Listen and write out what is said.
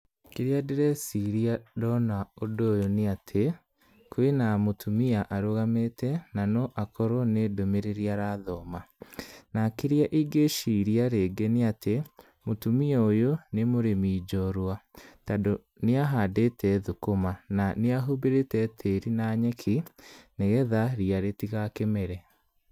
Kĩrĩa ndĩreciria ndona ũndũ ũyũ nĩ atĩ, kwĩna mũtumia arũgamĩte na no akorwo nĩ ndũmĩrĩri arathoma, na kĩrĩa ingĩciria rĩngĩ nĩ atĩ mũtumia ũyũ nĩ mũrĩmi ũyũ nĩ mũrĩmi njorua tondũ nĩahandĩte thũkũma na nĩahumbĩrĩte tĩri na nyeki nĩgetha ria rĩtigakĩmere.